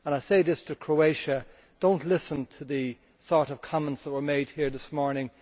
I say this to Croatia do not listen to the kinds of comments that were made here this morning.